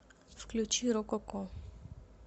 включи рококо